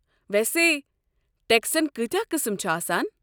ویسے ٹٮ۪کسن کٲتیٛاہ قٕسٕم چھِ آسان؟